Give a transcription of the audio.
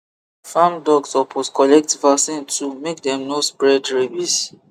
farm dog suppose collect vaccine too make dem no spread rabies